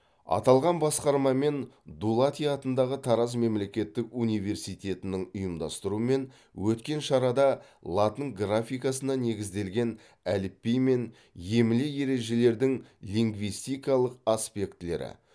аталған басқарма мен дулати атындағы тараз мемлекеттік университетінің ұйымдастыруымен өткен шарада латын графикасына негізделген әліпби мен емле ережелердің лингвистикалық аспектілері